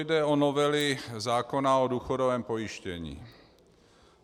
Jde o novely zákona o důchodovém pojištění.